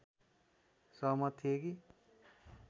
सहमत थिए कि